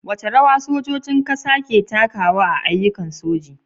Wace rawa sojojin kasa ke takawa a ayyukan soji?